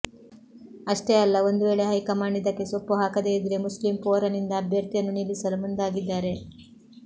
ಅಷ್ಟೇ ಅಲ್ಲ ಒಂದು ವೇಳೆ ಹೈಕಮಾಂಡ್ ಇದಕ್ಕೆ ಸೊಪ್ಪು ಹಾಕದೇ ಇದ್ರೆ ಮುಸ್ಲಿಂ ಫೋರಂ ನಿಂದ ಅಭ್ಯರ್ಥಿಯನ್ನು ನಿಲ್ಲಿಸಲು ಮುಂದಾಗಿದ್ದಾರೆ